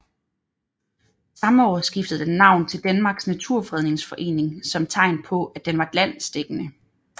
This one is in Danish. Samme år skiftede den navn til Danmarks Naturfredningsforening som tegn på at den var landsdækkende